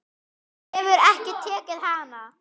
Þú hefur ekki tekið hana?